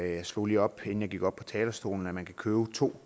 jeg slog lige op inden jeg gik op på talerstolen at man kan købe to